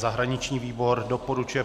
Zahraniční výbor doporučuje